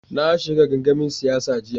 Na shiga gangamin siyasa jiya.